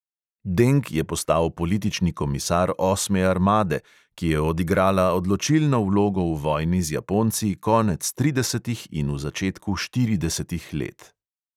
Deng je postal politični komisar osme armade, ki je odigrala odločilno vlogo v vojni z japonci konec tridesetih in v začetku štiridesetih let.